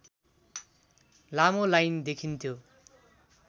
लामो लाइन देखिन्थ्यो